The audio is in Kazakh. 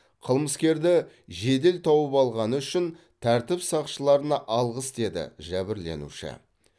қылмыскерді жедел тауып алғаны үшін тәртіп сақшыларына алғыс деді жәбірленуші